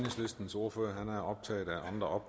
og